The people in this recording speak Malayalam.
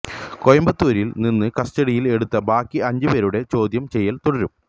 കോയമ്പത്തൂരിൽ നിന്ന് കസ്റ്റഡിയിൽ എടുത്ത ബാക്കി അഞ്ചു പേരുടെ ചോദ്യം ചെയ്യൽ തുടരും